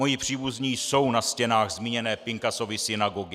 Moji příbuzní jsou na stěnách zmíněné Pinkasovy synagogy.